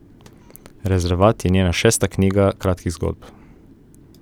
Rezervat je njena šesta knjiga kratkih zgodb.